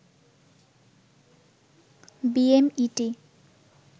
BMET